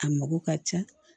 A mako ka ca